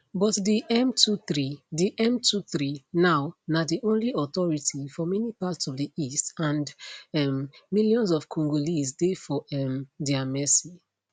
but di m23 di m23 now na di only authority for many parts of di east and um millions of congolese dey for um dia mercy